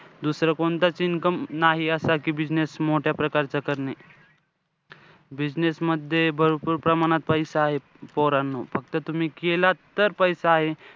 दुसरं कोणतंच income नाहीये असं कि business मोठ्या प्रकारचा करणे. business मध्ये भरपूर प्रमाणात पैसा आहे पोरांनो. फक्त तुम्ही केलं तर पैसा आहे.